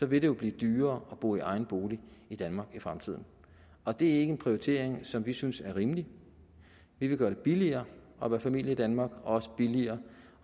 vil det blive dyrere at bo i egen bolig i danmark i fremtiden og det er ikke en prioritering som vi synes er rimelig vi vil gøre det billigere at være familie i danmark og også billigere